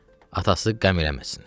atası qəm eləməsin.